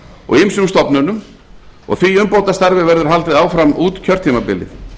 og ýmsum stofnunum og því umbótastarfi verður haldið áfram út kjörtímabilið